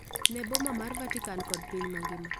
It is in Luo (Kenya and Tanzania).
ne boma mar Vatican kod piny mangima,